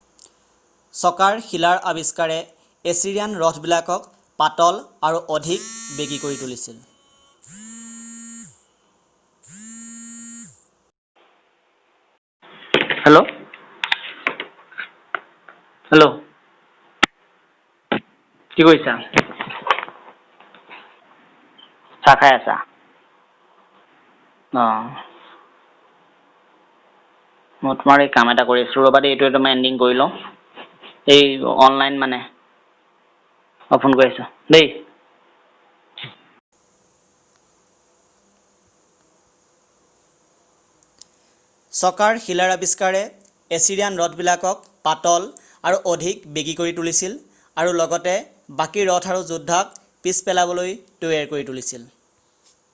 চকাৰ শিলাৰ আবিষ্কাৰে এছিৰিয়ান ৰথবিলাকক পাতল আৰু অধিক বেগী কৰি তুলিছিল আৰু লগতে বাকী ৰথ আৰু যোদ্ধাক পিছ পেলাবলৈ তৈয়াৰ কৰি তুলিছিল